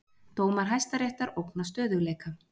Dómar Hæstaréttar ógna stöðugleika